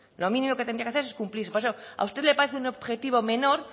lo mínimo que tendría que hacerse es cumplirse por eso a usted le parece un objetivo menor